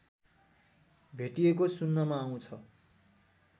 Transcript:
भेटिएको सुन्नमा आउँछ